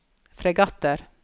fregatter